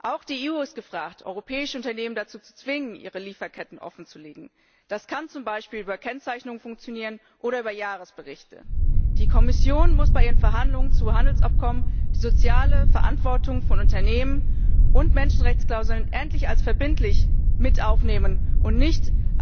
Auch die EU ist gefragt, europäische Unternehmen dazu zu zwingen, ihre Lieferketten offenzulegen. Das kann z. B. über Kennzeichnung oder über Jahresberichte funktionieren. Die Kommission muss bei ihren Verhandlungen zu Handelsabkommen die soziale Verantwortung von Unternehmen und Menschenrechtsklauseln endlich als verbindlich mit aufnehmen und